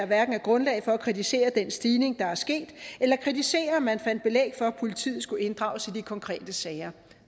hverken er grundlag for at kritisere den stigning der er sket eller kritisere at man fandt belæg for at politiet skulle inddrages i de konkrete sager